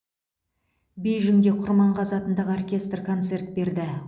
бейжіңде құрманғазы атындағы оркестр концерт берді